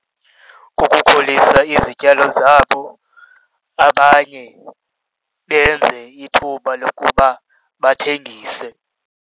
Kukukhulisa izityalo zabo, abanye benze ithuba lokuba bathengise.